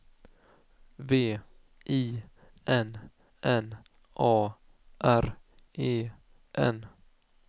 V I N N A R E N